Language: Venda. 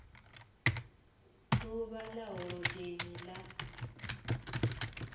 d uvha ḽa holodeni ḽa